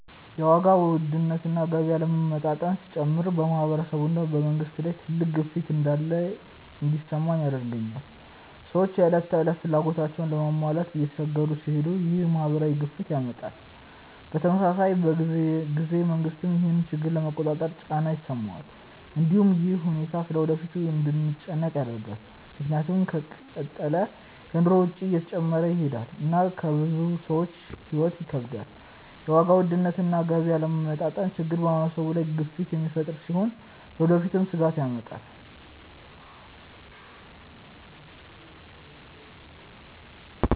የዋጋ ውድነት እና የገቢ አለመመጣጠን ሲጨምር በማህበረሰብ እና በመንግስት ላይ ትልቅ ግፊት እንዳለ እንዲሰማኝ ያደርገኛል። ሰዎች የዕለት ተዕለት ፍላጎታቸውን ለመሟላት እየተቸገሩ ሲሄዱ ይህ ማህበራዊ ግፊትን ያመጣል። በተመሳሳይ ጊዜ መንግስትም ይህን ችግር ለመቆጣጠር ጫና ይሰማዋል። እንዲሁም ይህ ሁኔታ ስለ ወደፊቱ እንድንጨነቅ ያደርጋል፣ ምክንያቱም ከተቀጠለ የኑሮ ወጪ እየጨመረ ይሄዳል እና ለብዙ ሰዎች ሕይወት ይከብዳል። የዋጋ ውድነት እና የገቢ አለመመጣጠን ችግር በማህበረሰብ ላይ ግፊት የሚፈጥር ሲሆን ለወደፊትም ስጋት ያመጣል።